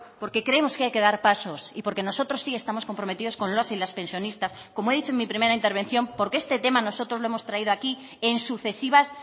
porque creemos que hay que dar pasos y porque nosotros sí estamos comprometidos con los y las pensionistas como he dicho en mi primera intervención porque este tema nosotros lo hemos traído aquí en sucesivas